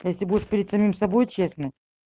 если будешь перед самим собой честным